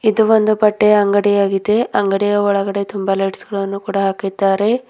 ಇದು ಒಂದು ಬಟ್ಟೆಯ ಅಂಗಡಿಯಾಗಿದೆ ಅಂಗಡಿಯ ಒಳಗಡೆ ತುಂಬಾ ಲೈಟ್ಸ್ ಗಳನ್ನು ಕೂಡ ಹಾಕಿದ್ದಾರೆ.